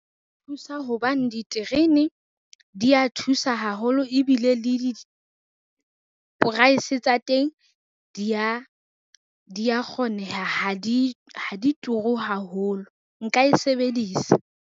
Hobane diterene, dia thusa haholo ebile le di-price tsa teng dia kgoneha ha di turu haholo, nka e sebedisa.